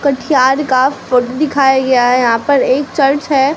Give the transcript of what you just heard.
कुछ चार्ट का फोटो दिखाया गया है यहां पर एक चर्च है।